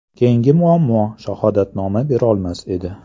Keyingi muammo, shahodatnoma berolmas edi.